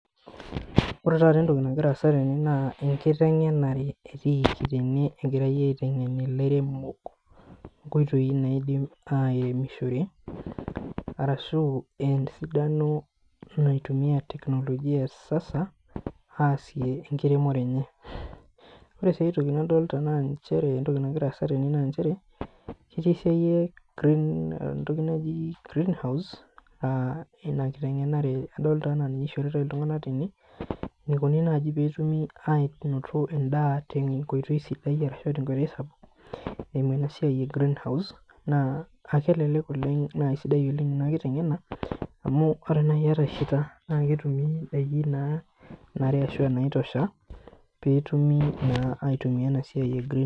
Ore taata etoki nagira aasa tene naa, ekitengenare etiiki tene, egirae aitengen ilairemok nkoitoi naidim airemishore arashu, esidano naitumiae teknologia ekisasa aasie ekiremore enye. Ore sii aitoki nadolita naa nchere etoki nagira aasa tene naa nchere etii esiai e green etoki naaji green house ah ina kitengenare adolita ajo ninye eishoritae iltunganak tene eneikoni naaji peetumi anoto endaa tenkoitoi sidai arashu, tenkoitoi sapuk eimu ena siai eh green house naa, akelellek oleng naa sidai oleng ina kitengena amu, ore naaji iyata heater naa ketumi indaiki naa nanare ashu, naitosha peetumoki naa aitumia ena siai eh green house.